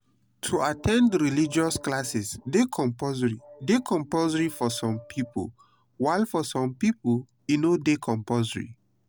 to at ten d religious classes de compulsory de compulsory for some pipo while for some pipo e no de compulsory